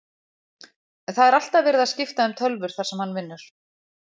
Það er alltaf verið að skipta um tölvur þar sem hann vinnur.